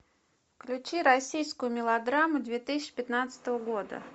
включи российскую мелодраму две тысячи пятнадцатого года